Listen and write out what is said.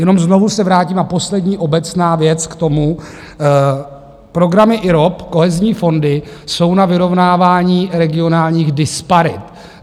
Jenom znovu se vrátím - a poslední obecná věc k tomu: programy IROP, kohezní fondy, jsou na vyrovnávání regionálních disparit.